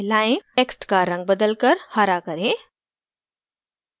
text का रंग बदलकर हरा करें